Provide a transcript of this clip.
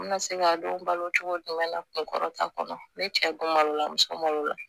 N bɛna se k'a dɔn balo cogo jumɛn na kun kɔrɔta kɔnɔ ne cɛ don malo la muso malo la